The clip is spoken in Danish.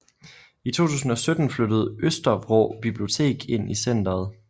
I 2017 flyttede Østervrå Bibliotek ind i centeret